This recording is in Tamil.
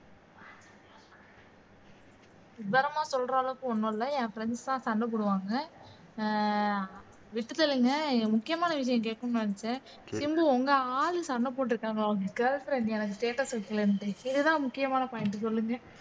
விவரமா சொல்ற அளவுக்கு ஒண்ணும் இல்லை என் friends எல்லாம் சண்டை போடுவாங்க அஹ் முக்கியமான விசயம் கேக்கனும்னு நினைச்சேன் சிம்பு உங்க ஆள் சண்டை போட்ருக்காங்க உங்க girlfriend எனக்கு status ல தெரிஞ்சிது இதுதான் முக்கியமான point சொல்லுங்க